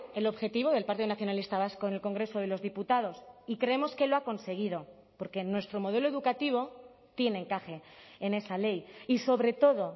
el objetivo del partido nacionalista vasco en el congreso de los diputados y creemos que lo ha conseguido porque nuestro modelo educativo tiene encaje en esa ley y sobre todo